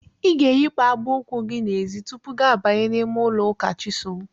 I ga-eyipụ akpa ụkwụ gị n'ezi tupu gị abanye n'ime ụlọ ụka Chisom.